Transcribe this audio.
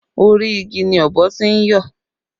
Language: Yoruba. Orí igi ni ọ̀bọ tí ń yọ̀